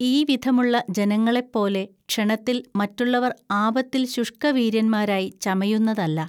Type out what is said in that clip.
ഈ വിധമുള്ള ജനങ്ങളെപ്പോലെ ക്ഷണത്തിൽ മറ്റുള്ളവർ ആപത്തിൽ ശുഷ്‌കവീര്യന്മാരായി ചമയുന്നതല്ല